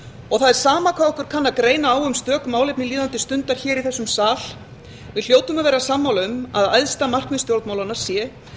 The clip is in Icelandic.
það er sama hvað okkur kann að greina á um stök málefni líðandi stundar í þessum sal við hljótum að vera sammála um að æðsta markmið stjórnmálanna sé